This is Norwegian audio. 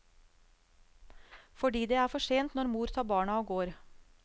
Fordi det er for sent når mor tar barna og går.